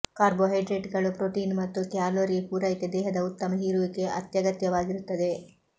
ಕಾರ್ಬೋಹೈಡ್ರೇಟ್ಗಳು protein ಮತ್ತು calorie ಪೂರೈಕೆ ದೇಹದ ಉತ್ತಮ ಹೀರುವಿಕೆ ಅತ್ಯಗತ್ಯವಾಗಿರುತ್ತವೆ